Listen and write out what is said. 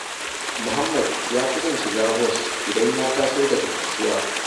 Muhammad ya fi son shiga bos idan ya taso daga kasuwa